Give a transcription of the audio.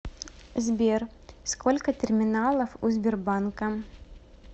сбер сколько терминалов у сбербанка